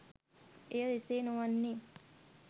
එය එසේ නොවන්නේ